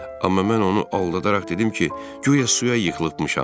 Amma mən onu aldadaraq dedim ki, guya suya yıxılıbmışam.